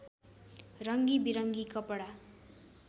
रङ्गी विरङ्गी कपडा